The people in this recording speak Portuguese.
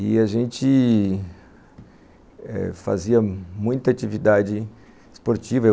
E a gente...eh fazia muita atividade esportiva.